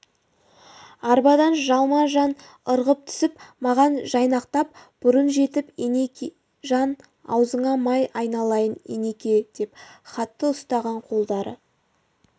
арбадан жалма жан ырғып түсіп маған жайнақтан бұрын жетіп енекежан аузыңа май айналайын енеке деп хатты ұстаған қолдары